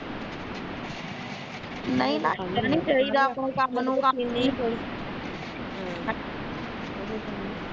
ਨਹੀਂ ਭੈਣ ਏਦਾਂ ਨੀ ਕਰੀ ਤੂੰ ਕੰਮ ਨੂੰ ਕੰਮ ਨੀ ਹਮ